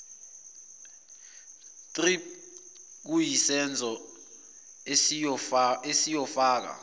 thrip okuyisenzo esiyofaka